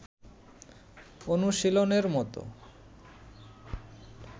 অনুশীলনের মতো